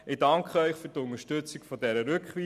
Ich danke Ihnen für die Unterstützung der Rückweisung.